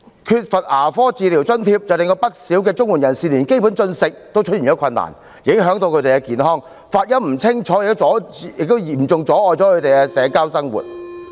缺乏牙科治療津貼則令不少綜援人士連基本進食也有困難，影響他們的健康，發音不清楚亦嚴重阻礙他們的社交生活。